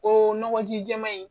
Ko nɔgɔji jɛma in